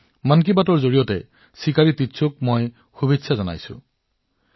মই মন কী বাতৰ জৰিয়তে শ্ৰীযুত চিকাৰী তিচৌজীক অভিনন্দন জনাইছো